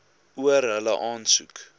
oor hulle aansoek